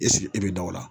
E sigi e bɛ da o la